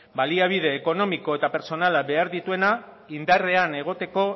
baliabide ekonomiko eta pertsonala behar dituena indarrean egoteko